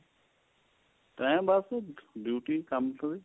time ਬੱਸ duty ਕੰਮ ਕਾਰ